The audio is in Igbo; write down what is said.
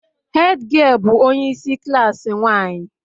Hed giel bụ onye isi klaasị nwanyị